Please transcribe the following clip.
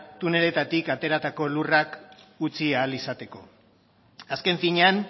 tuneletarik ateratako lurrak utzi ahal izateko azken finean